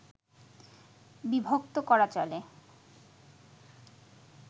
বিভক্ত করা চলে